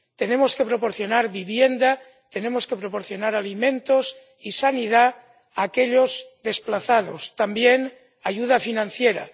Tenemos que proporcionar vivienda, tenemos que proporcionar alimentos y sanidad a aquellos desplazados, también ayuda financiera.